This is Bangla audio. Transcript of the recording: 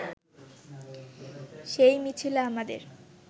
সেই মিছিলে আমাদের